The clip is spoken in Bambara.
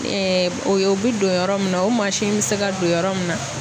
o ye o bi don yɔrɔ min na, o mi se ka don yɔrɔ min na